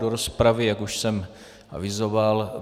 Do rozpravy, jak už jsem avizoval...